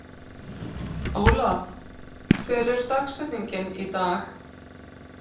Ólaf, hver er dagsetningin í dag?